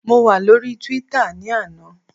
Mo wà lóríi túwítà ní àná